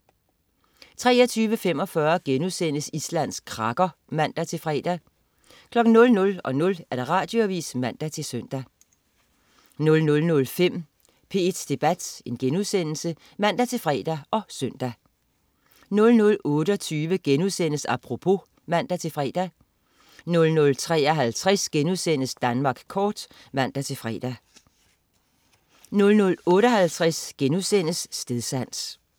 23.45 Island krakker* (man-fre) 00.00 Radioavis (man-søn) 00.05 P1 Debat* (man-fre og søn) 00.28 Apropos* (man-fre) 00.53 Danmark kort* (man-fre) 00.58 Stedsans*